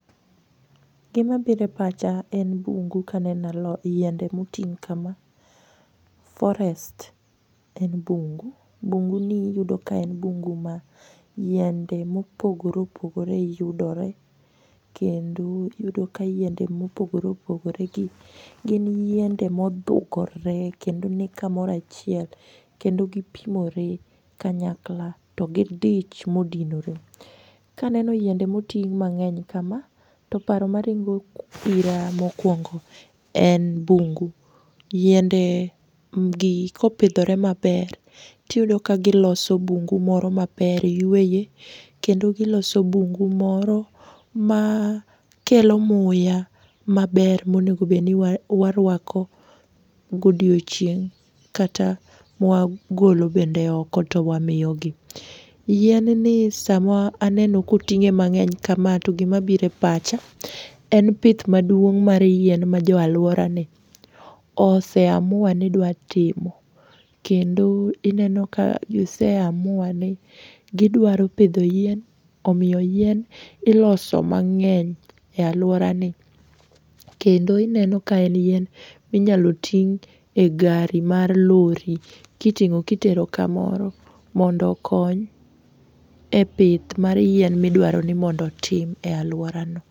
Gimabire pacha en bungu kaneno yiende motii kama. Forest en bungu. Bunguni iyudo ka en bungu ma yiende mopogore opogore yudore. Kendo iyudo ka yiende mopogore opogore gi, gin yiende modhugore kendo ni kamoro achiel kendo gipimore kanyakla to gidich modinore. Kaneno yiende moting' mang'eny kamaa to paro maringo ira mokuongo en bungu. Yiende gi kopidhore maber tiyudo ka giloso bungu moro maber yueye kendo giloso bungu moro makelo muya maber monegobeni waruako godiochieng' kata mwagolo bende oko to wamiyogi. Yien ni sama aneno koting'e mang'eny kama to gima bire pacha en pith maduong' mar yien ma jo aluorani oseamua ni dwatimo kendo ineno ka giseamua ni gidwaro pidho yien, omiyo yien iloso mang'eny e aluorani kendo ineno ka en yien minyalo ting' e gari mar lori kiting'o kitero kamoro mondo okony e pith mar yien midwaroni mondo otim ei aluorani.